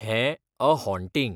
हें ' a haunting'.